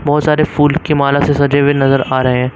बहुत सारे फूल की माला से सजे हुए नजर आ रहे हैं।